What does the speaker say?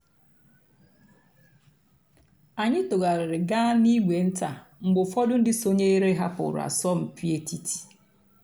ányị́ tụ́ghàrị́rị́ gàá n'ìgwé ǹtá mg̀bé ụ́fọ̀dụ́ ndị́ sònyééré hàpụ́rụ́ àsọ̀mpị́ ètìtí.